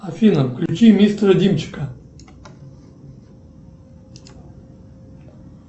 афина включи мистера димчика